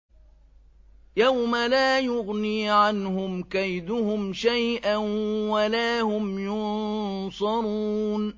يَوْمَ لَا يُغْنِي عَنْهُمْ كَيْدُهُمْ شَيْئًا وَلَا هُمْ يُنصَرُونَ